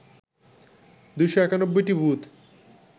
২৯১টি booth